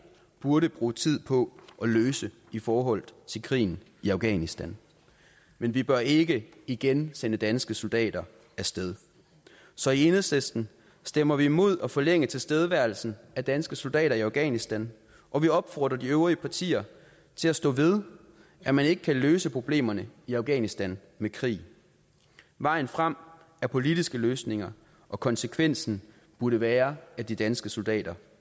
burde bruge tid på at løse i forhold til krigen i afghanistan men vi bør ikke igen sende danske soldater af sted så i enhedslisten stemmer vi imod at forlænge tilstedeværelsen af danske soldater i afghanistan og vi opfordrer de øvrige partier til at stå ved at man ikke kan løse problemerne i afghanistan med krig vejen frem er politiske løsninger og konsekvensen burde være at de danske soldater